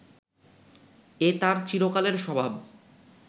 এ তাঁর চিরকালের স্বভাব